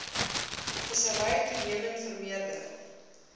vissery toenemend vermeerder